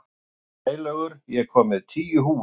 Sælaugur, ég kom með tíu húfur!